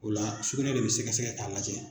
O la sukunɛ de bi sɛgɛsɛgɛ k'a lajɛ.